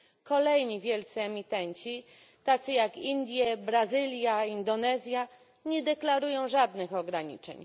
Kolejni wielcy emitenci tacy jak Indie, Brazylia, Indonezja nie deklarują żadnych ograniczeń.